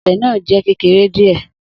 Obe naa jẹ kekere diẹ.